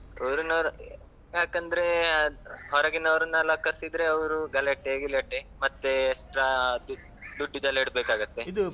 ಊರಿನವರು ಯಾಕಂದ್ರೆ ಅದ್ ಹೊರಗಿನವರ್ನೆಲ್ಲಾ ಕರ್ಸಿದ್ರೆ, ಅವರು ಗಲಾಟೆ ಗಿಲಾಟೆ ಮತ್ತೆ extra ದುಡ್ಡುದೆಲ್ಲ ಇಡ್ಬೇಕಾಗ್ತದೆ.